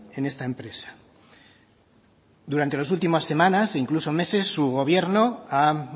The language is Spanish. en esta empresa durante las últimas semanas incluso meses su gobierno ha